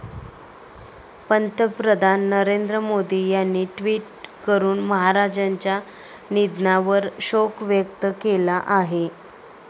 पंतप्रधान नरेंद्र मोदी यांनी ट्विट करून महाराजांच्या निधनावर शोक व्यक्त केला आहे.